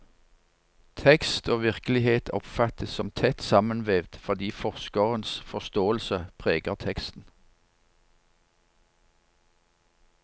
Tekst og virkelighet oppfattes som tett sammenvevd, fordi forskerens forståelse preger teksten.